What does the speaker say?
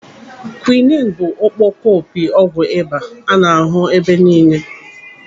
Kwiini bụ ọkpọkọpi ọgwụ ịba a na-ahụ ebe niile.